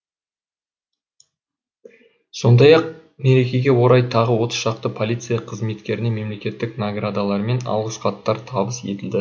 сондай ақ мерекеге орай тағы отыз шақты полиция қызметкеріне мемлекеттік наградалар мен алғыс хаттар табыс етілді